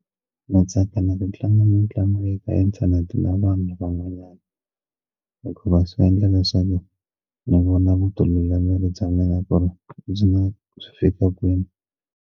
Na tsaka ku tlanga mitlangu yi ka inthanete na vanhu van'wanyana hikuva swi endla leswaku ndzi vona ku tlula miri bya n'wina ku ri ndzi nga swi fika kwini.